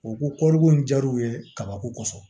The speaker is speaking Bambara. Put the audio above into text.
U ko kɔri ko in jar'u ye kabako kosɔn